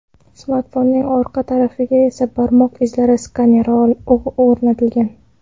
Smartfonning orqa tarafiga esa barmoq izlari skaneri o‘rnatilgan.